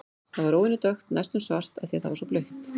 Það var óvenju dökkt, næstum svart, af því að það var svo blautt.